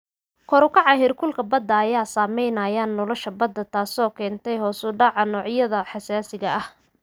Kor u kaca heerkulka badda ayaa saameynaya nolosha badda, taasoo keentay hoos u dhaca noocyada xasaasiga ah.